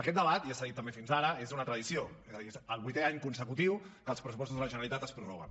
aquest debat ja s’ha dit també fins ara és una tradició és a dir és el vuitè any consecutiu que els pressupostos de la generalitat es prorroguen